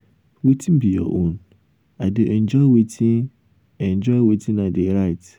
wetin be your own? i dey enjoy wetin enjoy wetin i dey write.